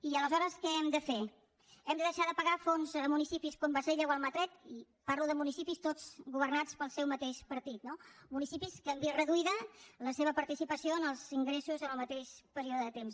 i aleshores què hem de fer hem de deixar de pagar fons a municipis com bassella o almatret i parlo de municipis tots governats pel seu mateix partit no municipis que han vist reduïda la seva participació en els ingressos en el mateix període de temps